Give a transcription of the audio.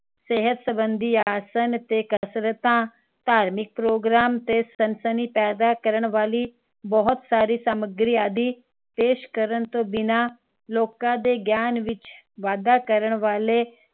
ਸਿਹਤ ਸੰਬੰਦੀ ਆਸਣ ਤੇ ਕਸਰਤਾਂ ਧਾਰਮਿਕ program ਤੇ ਸਨਸਨੀ ਪੈਦਾ ਕਰਨ ਵਾਲੀ ਬਹੁਤ ਸਾਰੀ ਸਾਮਗਰੀ ਆਦਿ ਪੇਸ਼ ਕਰਨ ਤੋਂ ਬਿਨਾਂ ਲੋਕਾਂ ਦੇ ਗਿਆਨ ਵਿਚ ਵਾਧਾ ਕਰਨ ਵਾਲੇ